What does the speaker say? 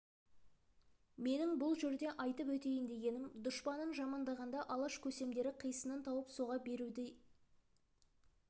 менің бұл жерде айтып өтейін дегенім дұшпанын жамандағанда алаш көсемдері қисынын тауып соға беруші еді демек